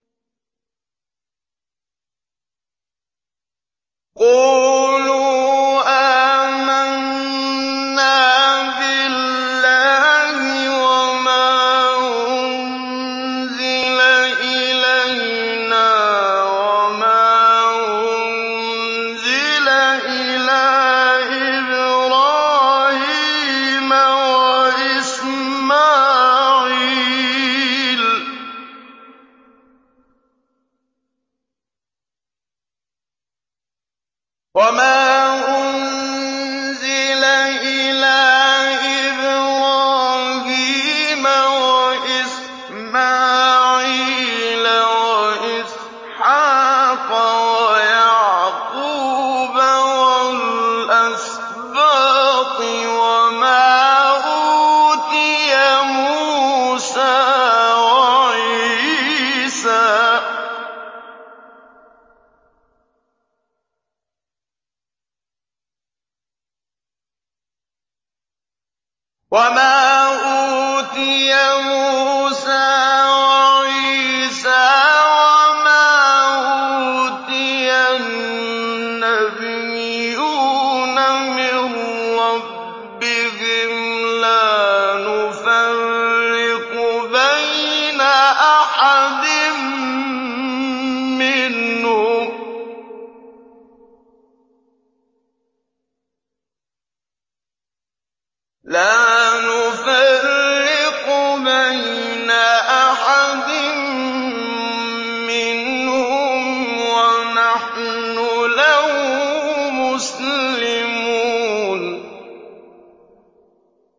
قُولُوا آمَنَّا بِاللَّهِ وَمَا أُنزِلَ إِلَيْنَا وَمَا أُنزِلَ إِلَىٰ إِبْرَاهِيمَ وَإِسْمَاعِيلَ وَإِسْحَاقَ وَيَعْقُوبَ وَالْأَسْبَاطِ وَمَا أُوتِيَ مُوسَىٰ وَعِيسَىٰ وَمَا أُوتِيَ النَّبِيُّونَ مِن رَّبِّهِمْ لَا نُفَرِّقُ بَيْنَ أَحَدٍ مِّنْهُمْ وَنَحْنُ لَهُ مُسْلِمُونَ